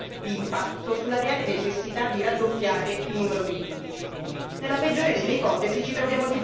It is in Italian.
Nella peggiore delle ipotesi, ci troviamo di fronte a interessi inconfessabili che stanno dietro ad una mera spartizione di poltrone.